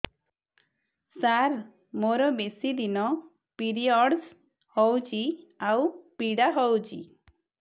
ସାର ମୋର ବେଶୀ ଦିନ ପିରୀଅଡ଼ସ ହଉଚି ଆଉ ପୀଡା ହଉଚି